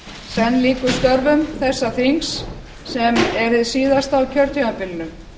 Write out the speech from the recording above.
senn lýkur störfum þessa þings sem er hið síðasta á kjörtímabilinu